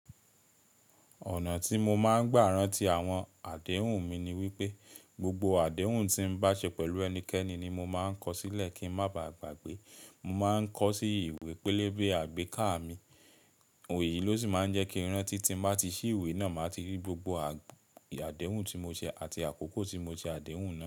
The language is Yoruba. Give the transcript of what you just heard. Ọ̀nà tí mo máa ń gbà ran ti àwọn àdéhùn mi ni wípé, gbogbo àdéhùn tí mo bá ṣe pẹ̀lú ẹnikẹ́ni ni mo máa ń kọ sílẹ̀ kí ń má baà gbàgbé. Mo máa ń kọ sí ìwé pélébé àgbéká mi, òye yìí ló sì máa ń jẹ́ kí ìran ti tí mo bá ti ṣí ìwé náà, màá ti rí gbogbo àdéhùn tí mo ṣe àti àkókò tí mo ṣe àdéhùn náà.